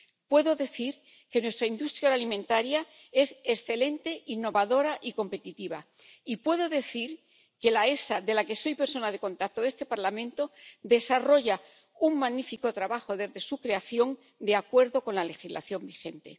Puedo decir que nuestra industria alimentaria es excelente, innovadora y competitiva, y puedo decir que la EFSA, de la que soy persona de contacto de este Parlamento, desarrolla un magnífico trabajo desde su creación de acuerdo con la legislación vigente.